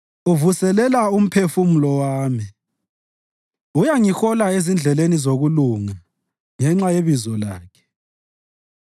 uvuselela umphefumulo wami. Uyangihola ezindleleni zokulunga ngenxa yebizo lakhe.